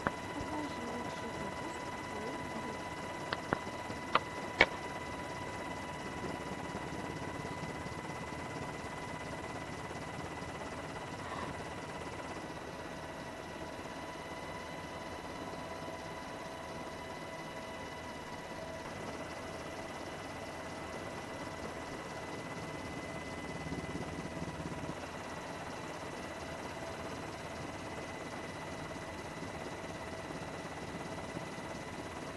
покажи лучший выпуск олл деф